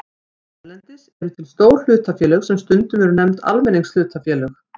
Víða erlendis eru til stór hlutafélög sem stundum eru nefnd almenningshlutafélög.